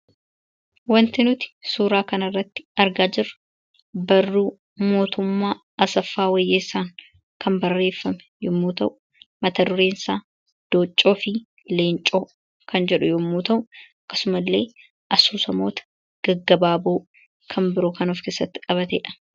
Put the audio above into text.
Waanti nuti suuraa kana irratti argaa jirru, barruu Mootummaa Asaffaa Wayyeessaan kan barreeffame yemmuu ta'u, mata dureen isaa 'Dooccoo fi leencoo' kan jedhu yemmuu ta'u akkasuma illee asoosamoota gaggabaaboo kan biroo kan of keessatti qabatedha.